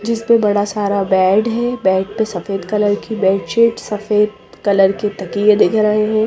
जिस पे बड़ा सारा बेड है बेड पे सफेद कलर की बेडशीट सफेद कलर के तकिए दिख रहे हैं।